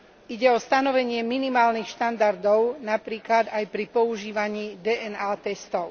Ide o stanovenie minimálnych štandardov, napríklad aj pri používaní DNA testov.